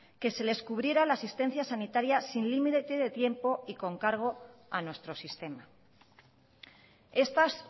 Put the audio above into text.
que se les cubriera la asistencia sanitaria sin límite de tiempo y con cargo a nuestro sistema estas